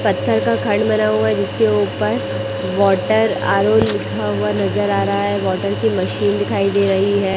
पत्थर का खंड बना हुआ है जिसके ऊपर वाटर आर_ओ लिखा हुआ नजर आ रहा है वाटर की मशीन दिखाई दे रही है।